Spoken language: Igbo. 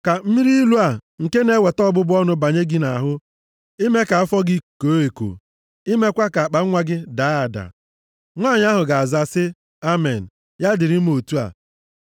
Ka mmiri ilu a, nke na-eweta ọbụbụ ọnụ banye gị nʼahụ ime ka afọ gị koo eko, imekwa ka akpanwa gị daa ada.” “ ‘Nwanyị ahụ ga-aza sị, “Amen, ya dịrị m otu a.”